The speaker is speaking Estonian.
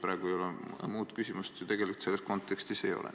Praegu muud küsimust selles kontekstis ei ole.